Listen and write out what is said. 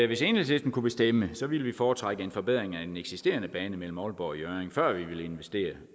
hvis enhedslisten kunne bestemme så ville vi foretrække en forbedring af den eksisterende bane mellem aalborg og hjørring før vi ville investere